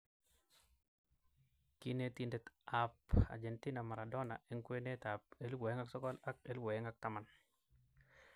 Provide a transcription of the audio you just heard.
Kinetindet ab Argentina Maradona eng kwenet ab 2009 ak 2010.